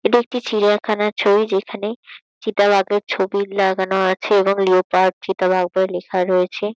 এটা একটি চিড়িয়াখানার ছবি যেখানে চিতা বাঘের ছবি লাগানো আছে এবং লিওপার্ড চিতাবাঘ বলে লেখা রয়েছে।